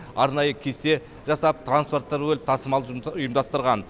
арнайы кесте жасап транспорттар бөліп тасымал ұйымдастырған